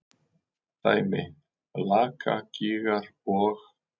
Dæmi: Lakagígar og